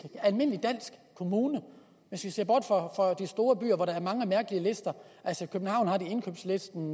almindelig dansk kommune hvis vi ser bort fra de store byer hvor der er mange mærkelige lister altså i københavn har de indkøbslisten